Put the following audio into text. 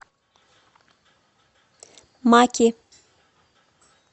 маки